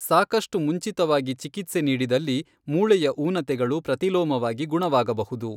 ಸಾಕಷ್ಟು ಮುಂಚಿತವಾಗಿ ಚಿಕಿತ್ಸೆ ನೀಡಿದಲ್ಲಿ, ಮೂಳೆಯ ಊನತೆಗಳು ಪ್ರತಿಲೋಮವಾಗಿ ಗುಣವಾಗಬಹುದು.